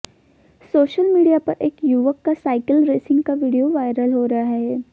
social media पर एक युवक का साइकिल रेसिंग का वीडियो वायरल हो रहा है